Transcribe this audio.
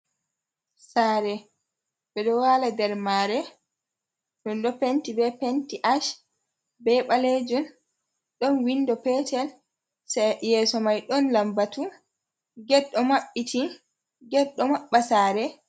Saare ɓe ɗo waala nder maare, ɗo penti bee Penti Ash bee ɓaleejun ɗon winndo peetel, yeeso may ɗon lammbatu get ɗo maɓbiti get ɗo maɓɓa saare.